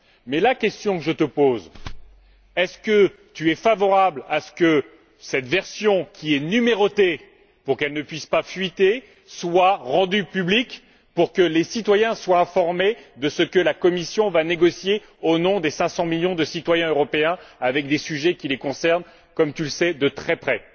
Mais la question que je te pose est celle ci est ce que tu es favorable à ce que cette version, qui est numérotée pour qu'il ne puisse pas y avoir de fuite, soit rendue publique pour que les citoyens soient informés de ce que la Commission va négocier au nom des cinq cent millions de citoyens européens, sur des sujets qui les concernent, comme tu le sais, de très près?